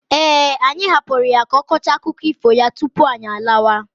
Eh, anyị hapụrụ ya ka ọ kọchaa akụkọ ifo ya tupu anyị alawa.